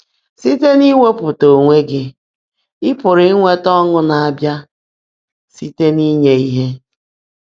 Síte n’íwèepụ́tá óńwé gị́, ị́ pụ́rụ́ ínwétá ọ́ńụ́ ná-ábịá síte n’ínyé íhe.